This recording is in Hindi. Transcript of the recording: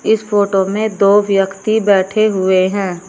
इस फोटो में दो व्यक्ति बैठे हुए हैं।